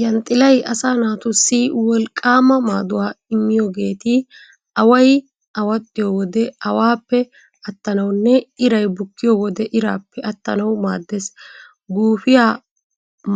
Yanxxilay asaa naatussi wolqqaama maaduwaa immiyoogeeti away awaxxiyo wode awaappe attanawunne iray bukkiyo wode iraappe attanawu maaddees. Guufiyaa